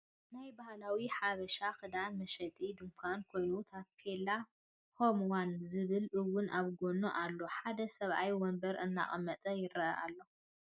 ናይ ባህላዊ ሓበሻ ክዳን መሸጢ ድካን ኮይኑ ታፔላ ሆም ዋን ዝብል እውን ኣብ ጎኑ ኣሎ ሓደ ሰብኣይ ወንበር እናቀመጠ ይርአ ኣሎ።